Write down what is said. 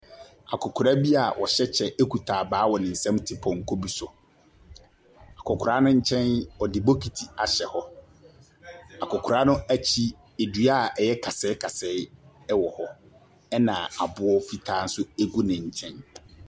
Akɔkora bi a ɔhyɛ kyɛ kita abaa wɔ ne nsam te pɔnkɔ pi so. Akɔkora no nkyɛn, ɔde bokiti ahyɛ hɔ. Akɔkora no akyi, dua a ɛyɛ kasɛe kasɛe wɔ hɔ, ɛna aboɔ fitaa nso gu ne nkyɛn.